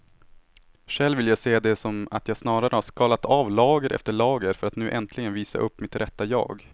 Själv vill jag se det som att jag snarare har skalat av lager efter lager för att nu äntligen visa upp mitt rätta jag.